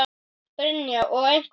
Brynja: Og einhver komið?